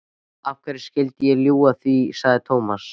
Af hverju skyldi ég ljúga því? sagði Thomas.